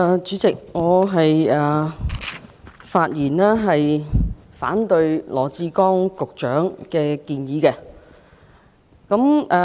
主席，我發言反對羅致光局長的議案。